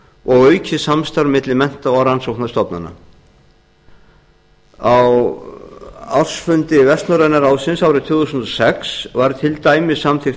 og aukið samstarf milli mennta og rannsóknarstofnana á ársfundi vestnorræna ráðsins árið tvö þúsund og sex var til dæmis samþykkt